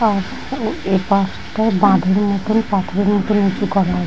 পা এ পার্ক টা বাঁধনের মতন পাথরের মতন উঁচু করা আ--